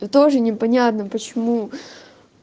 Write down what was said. и тоже непонятно почему